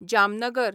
Jamnagar